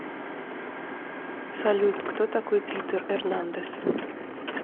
салют кто такой питер эрнандес